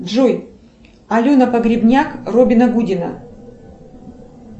джой алена погребняк робина гудина